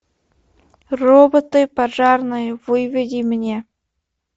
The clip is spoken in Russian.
роботы пожарные выведи мне